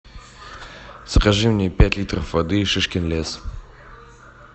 закажи мне пять литров воды шишкин лес